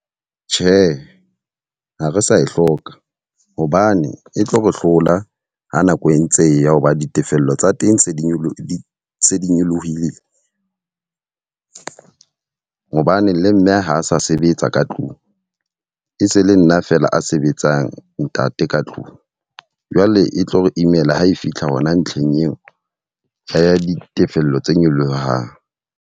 Tjhe, ha re sa e hloka. Hobane e tlo re hlola ha nako e ntse e ya hoba ditefello tsa teng tse di nyolohile di se di nyolohile. Hobane le mme ha a sa sebetsa ka tlung. E se le nna fela a sebetsang ntate ka tlung. Jwale e tlo re imela ha e fitlha hona ntlheng eo a ya ditefello tse nyolohang.